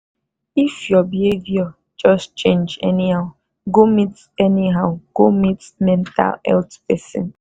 if your behaviour just change anyhow go meet anyhow go meet mental health person.